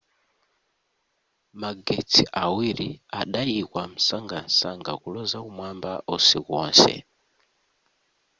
magetsi awiri adayikwa msangamsanga kuloza kumwamba usiku wonse